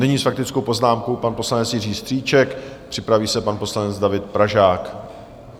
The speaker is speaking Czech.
Nyní s faktickou poznámkou pan poslanec Jiří Strýček, připraví se pan poslanec David Pražák.